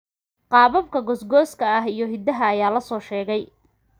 Qaababka goosgooska ah iyo hiddaha ayaa la soo sheegay.